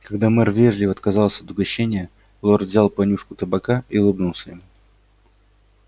когда мэр вежливо отказался от угощения лорд взял понюшку табака и улыбнулся ему